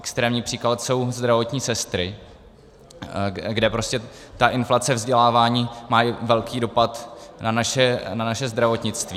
Extrémní příklad jsou zdravotní sestry, kde ta inflace vzdělávání má velký dopad na naše zdravotnictví.